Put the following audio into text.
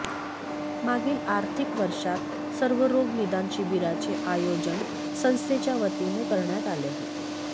मागील आर्थिक वर्षात सर्वरोग निदान शिबिराचे आयोजन संस्थेच्या वतीने करण्यात आले होते